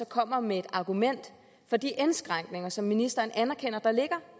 kommer med et argument for de indskrænkninger som ministeren anerkender ligger